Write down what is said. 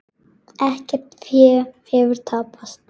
Ekkert fé hefur tapast.